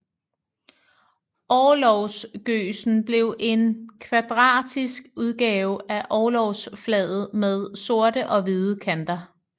Orlogsgøsen blev en kvadratisk udgave af orlogsflaget med sorte og hvide kanter